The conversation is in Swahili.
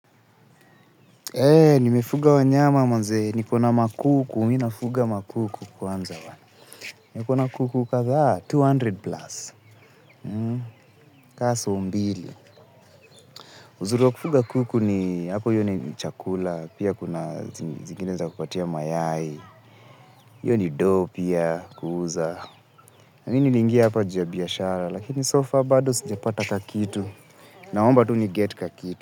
Nimefuga wa nyama manzee, nipo na makuku, mi nafuga ma kuku kwanza wana. Nipo na kuku kadhaa mia mbili plus, ka soo mbili. Uzuri wa kufuga kuku ni hapo hiyo ni chakula, pia kuna zingine za kupatia mayai, hiyo ni doo pia kuuza. Mi niliingia hapa juu ya biashara, lakini so far bado sijiapata kakitu, naomba tuni get kakitu.